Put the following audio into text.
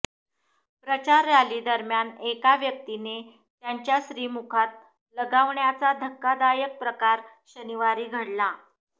प्रचार रॅलीदरम्यान एका व्यक्तीने त्यांच्या श्रीमुखात लगावण्याचा धक्कादायक प्रकार शनिवारी घडला